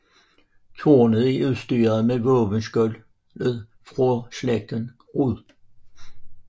Tårnet er udstyret mod våbenskjoldet for slægten Rud